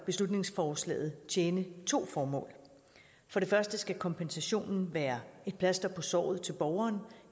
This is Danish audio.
beslutningsforslaget tjene to formål for det første skal kompensationen være et plaster på såret til borgeren